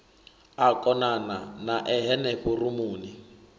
a konana nae henefho rumuni